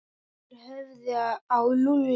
Þeir horfðu á Lúlla.